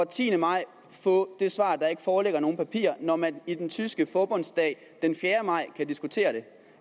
tiende maj få det svar at der ikke foreligger nogen papirer når man i den tyske forbundsdag den fjerde maj kan diskutere det